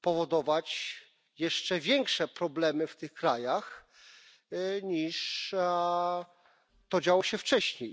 powodować jeszcze większe problemy w tych krajach, niż to działo się wcześniej.